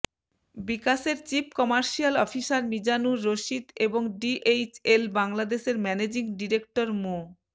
বিকাশের chief commercial officer Mizanur Rashid এবং DHL বাংলাদেশের ম্যানেজিং ডিরেক্টর মো